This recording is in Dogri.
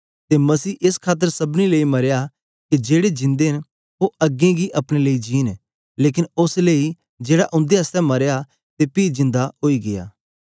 ते मसीह एस खातर सबनी लेई मरया के जेड़े जिंदे न ओ अग्गें गी अपने लेई नेई जींन लेकन ओस लेई जेड़ा उन्दे आसतै मरया ते पी जिन्दा ओई गीया